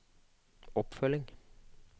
oppfølging